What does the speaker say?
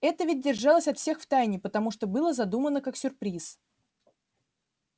это ведь держалось от всех в тайне потому что было задумано как сюрприз